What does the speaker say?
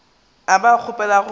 a ba kgopela gore ba